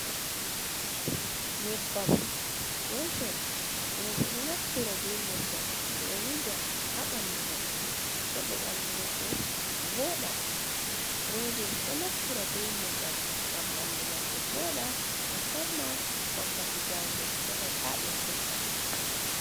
Nyeɓɓam looshon, roɓe ɗo naftira ɓe nyeɓɓam. Ɓe ɗo wuja ha ɓanɗu maɓɓe heɓa ɓanɗu maɓɓe voɗa. Roɓe ɗo naftira ɓe nyeɓɓam, ngam ɓanɗu maɓɓe vooɗa. Musamman wakkati jangol heɓa taɓe furɗa.